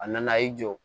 A nana y'i jɔ